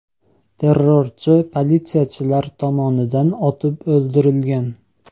Terrorchi politsiyachilar tomonidan otib o‘ldirilgan.